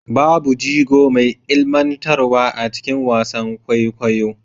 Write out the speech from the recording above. Babu jigo mai ilmantarwa a cikin wasan kwaikwayo